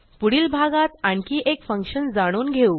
पुढील भागात आणखी एक फंक्शन जाणून घेऊ